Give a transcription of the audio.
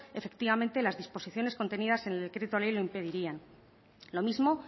efectivamente las disposiciones contenidas en el decreto ley lo impedirían lo mismo